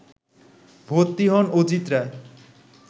ভর্তি হন অজিত রায়